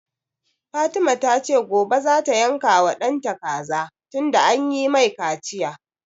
Fatima ta ce gobe za ta yanka wa ɗanta kaza tunda an yi mai kaciya